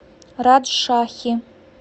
раджшахи